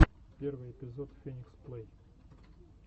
первый эпизод феникс плэй